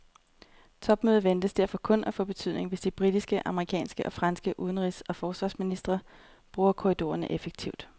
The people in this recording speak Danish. Topmødet ventes derfor kun at få betydning, hvis de britiske, amerikanske og franske udenrigs og forsvarsministre bruger korridorerne effektivt.